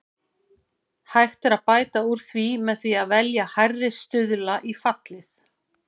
Hægt er að bæta úr því með því að velja hærri stuðla í fallið.